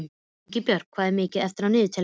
Ingibjört, hvað er mikið eftir af niðurteljaranum?